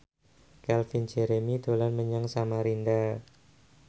Calvin Jeremy dolan menyang Samarinda